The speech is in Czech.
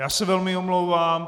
Já se velmi omlouvám.